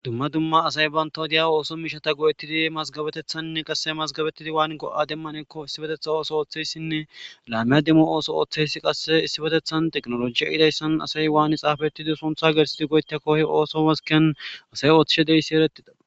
dumma dumma asay bantawu diya ooso miishata go7ettidi mazgabetethannne qasse mazgabettidi waannko7a demmanekko issibetetha ooso ooththeyssinne laameya demmo ooso ooththeysi qasse issibetethan teknolojiya idayssan asay waani xaafettidi somtha gersidi goytako he ooso maskeyan asay ooththishe deyssi erettida